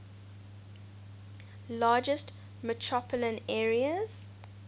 largest metropolitan areas